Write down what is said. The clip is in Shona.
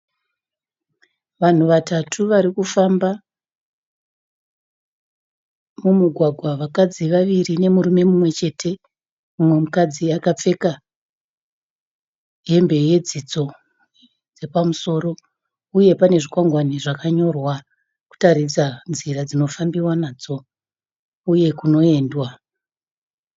Vanhu vatatu varikufamba mumugwagwa vakadzi vaviri nemurume mumwe chete. Mumwe mukadzi akapfeka hembe yedzidzo yepamusoro uye pane zvikwangwani zvakanyorwa kutaridza nzira dzinofambiwa nadzo uye kunoendwa.